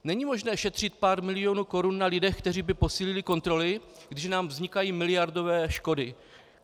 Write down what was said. Není možné šetřit pár milionů korun na lidech, kteří by posílili kontroly, když nám vznikají miliardové škody!